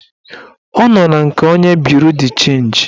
Ọ nọ na nke onye buru d chenji